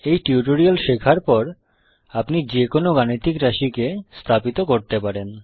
এই টিউটোরিয়াল শেখার পর আপনি যে কোন গাণিতিক রাশিকে স্থাপিত করতে পারেন